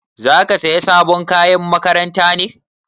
Zaka saya sabon kayan makaranta ne?